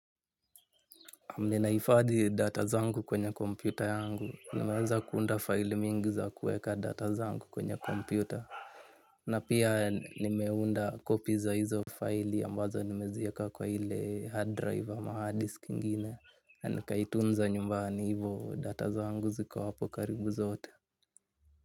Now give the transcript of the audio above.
Yenye ninahifadhi data zangu kwenye kompyuta yangu, nimeweza kuunda file mingi za kuweka data zangu kwenye kompyuta. Na pia nimeunda copy za hizo file ambazo nimeziweka kwa ile hard drive ama hard disk ingine. Na nikaitunza nyumbani hivyo data zangu ziko hapo karibu zote.